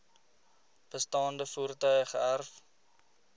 bestaande voertuie geërf